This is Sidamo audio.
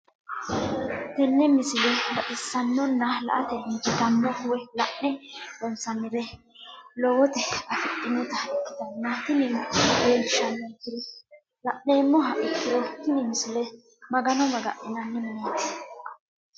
tenne misile baxisannonna la"ate injiitanno woy la'ne ronsannire lowote afidhinota ikkitanna tini leellishshannonkeri la'nummoha ikkiro tini misile magano maga'ninanni mineeti.